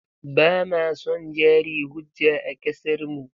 Ba ma son jari hujja a ƙasarmu.